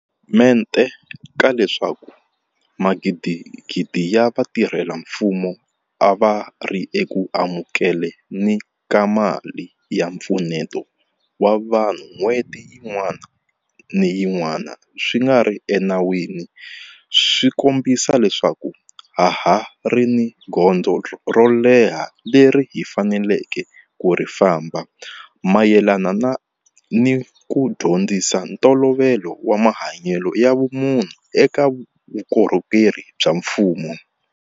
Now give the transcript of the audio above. mente ka leswaku magidigidi ya vatirhela mfumo a va ri eku amukele ni ka mali ya mpfuneto wa vanhu n'hweti yin'wana ni yin'wana swi nga ri enawini swi kombisa leswaku ha ha ri ni gondzo ro leha leri hi faneleke ku ri famba mayelana ni ku dyondzisa ntolovelo wa mahanyelo ya vumunhu eka vukorhokeri bya mfumo.